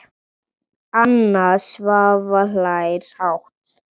Anna Svava hlær hátt.